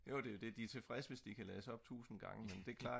de er tilfredse hvis de kan lades op 1000 gange men det er klart